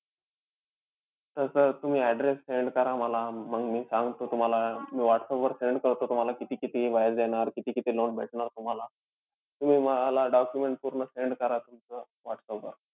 तसं तुम्ही address send करा मला. मंग मी सांगतो तुम्हाला. मी व्हाट्सअपवर send करतो तुम्हाला किती-किती व्याज जाणार, किती-किती loan भेटणार तुम्हाला. तुम्ही मला documents पूर्ण send करा तुमचं whatsapp वर